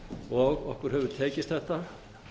tímann okkur hefur tekist þetta